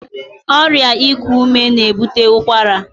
Ọrịa iku ume na-ebute ụkwara.